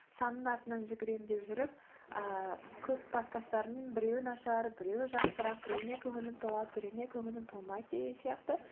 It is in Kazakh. санның артынан жүгіремін деп жүріп ыыы көп подкастарымның біреуі нашар біреуі жақсырақ біреуіне көңілім толады біреуіне көңілім толмайды деген сияқты